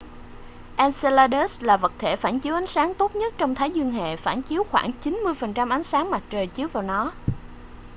enceladus là vật thể phản chiếu ánh sáng tốt nhất trong thái dương hệ phản chiếu khoảng 90% ánh sáng mặt trời chiếu vào nó